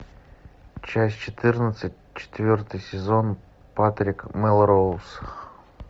часть четырнадцать четвертый сезон патрик мелроуз